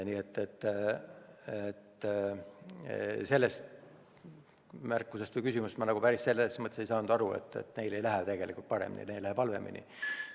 Nii et ma ei saanud sellest küsimusest päris hästi aru, selles mõttes, et neil ei lähe tegelikult paremini, neil läheb halvemini.